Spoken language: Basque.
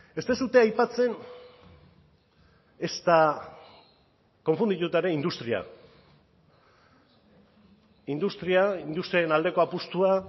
ez duzue aipatzen ezta konfundituta ere industria industria industriaren aldeko apustua